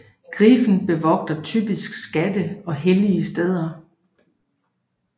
Griffen bevogter typisk skatte og hellige steder